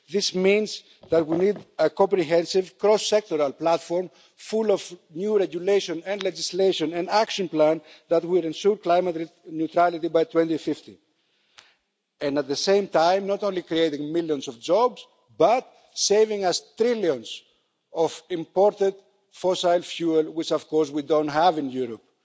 This means that we need a comprehensive cross sectoral platform full of new regulation and legislation, an action plan that will ensure climate neutrality by 2050, and at the same time not only creating millions of jobs, but saving us trillions of imported fossil fuel which of course we don't have in Europe.